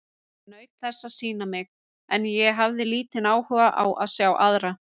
Ég naut þess að sýna mig, en ég hafði lítinn áhuga á að sjá aðra.